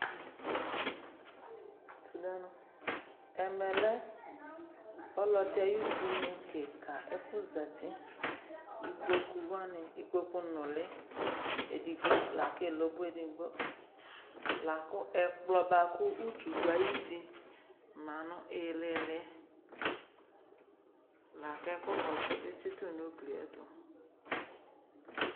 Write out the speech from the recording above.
Ɛmɛ lɛ ɔlɔdɩ ay'udunu kɩka ɛfʋ zati : ikpoku wanɩ , ikpoku nʋlɩ edigbo lak'elobo edigbo Lakʋ ɛkplɔ bʋakʋ utu dʋ ay'uti ma nʋ ɩɩlɩɩlɩ Lak'ɛkʋ kɔsʋdɩ tsɩtʋ n'uglie